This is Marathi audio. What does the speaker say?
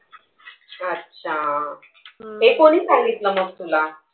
अच्छा. हे कोणी सांगितलं मग तुला?